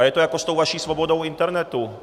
A je to jako s tou vaší svobodou internetu.